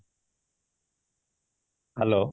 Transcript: hello